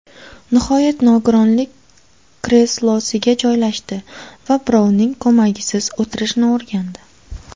Nihoyat nogironlik kreslosiga joylashdi va birovning ko‘magisiz o‘tirishni o‘rgandi.